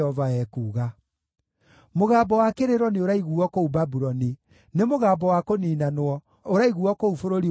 “Mũgambo wa kĩrĩro nĩũraiguuo kũu Babuloni; nĩ mũgambo wa kũniinanwo ũraiguuo kũu bũrũri wa andũ a Babuloni.